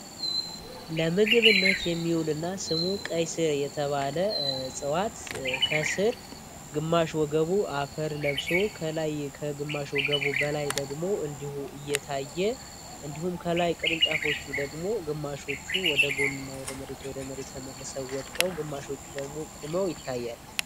ለምግብነት የሚውልና ስሙ ቀይ የተባለ ከስር ግማሽ ወገቡ አፈር ለብሶ ከላይ ከግማሽ ወገቡ በላይ ደግሞ እንዲሁ እየታየ እንዲሁም ከላይ ቅርንጫፎቹ ደግሞ ግማሾቹ ወደ መሪ ተመልሰው ወድቀው ግማሾቹ ደግሞ ቁመው ይታያል።